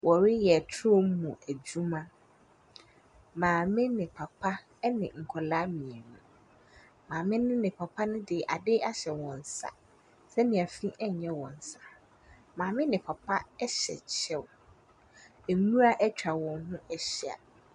Wɔreyɛ ture mu adwuma, maame ne papa ne nkwadaa mmienu. Maame no ne papa no de adeɛ ahyɛ wɔn nsa sɛdeɛ fii nyɛ wɔn nsa, maame ne papa hyɛ kyɛw, nwura atwa wɔn ho ahyia.